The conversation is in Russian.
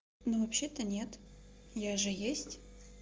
ну вообще-то нет я же есть